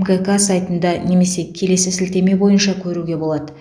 мкк сайтында немесе келесі сілтеме бойынша көруге болады